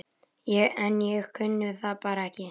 En ég kunni það bara ekki.